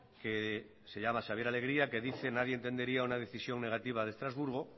que se llama xabier alegria que dicen nadie entendería una decisión negativa de estrasburgo